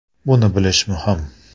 Buni bilish m uhim!